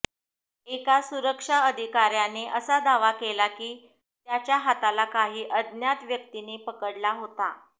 एका सुरक्षा अधिकार्याने असा दावा केला की त्याच्या हाताला काही अज्ञात व्यक्तींनी पकडला होता